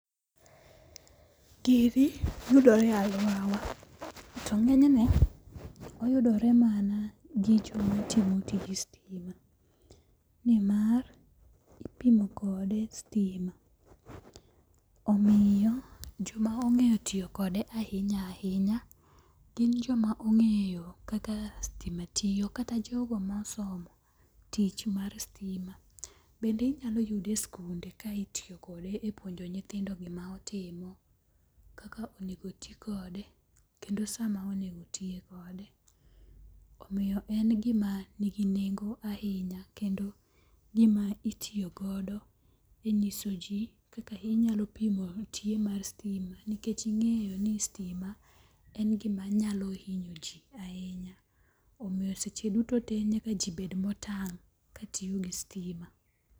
Gini yudore e aluora wa. To ng'enyne oyudore mana gi joma timo tij sitima. Nimar ipimo kode sitima. Omiyo joma ong'eyo tiyo kode ahinya ahinya gin joma ong'eyo kaka sitima tiyo kata jogo mosomo tich mar sitima. Bende inyalo yude e sikunde ka itiyokode e puonjo nyithindo gima otimo, kaka onego ti kode, kendo sa ma onego tiye kode. Omiyo en gima nigi nengo ahinya kendo gima itiyogodo e nyiso ji kaka inyalo pimo tie mar sitima nikech ing'eyo ni sitima en gima nyalo hinyo ji ahinya. Omiyo seche duto te nyaka ji obed motang' katiyo gi sitima.